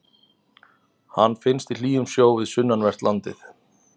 Hann finnst í hlýjum sjó við sunnanvert landið.